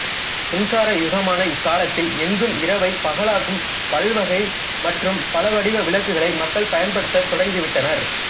மின்சாரயுகமான இக்காலத்தில் எங்கும் இரவைப் பகலாக்கும் பல்வகை மற்றும் பலவடிவ விளக்குகளை மக்கள் பயன்படுத்தத் தொடங்கிவிட்டனர்